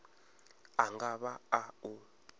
a nga vha a u